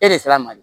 E de sera a ma de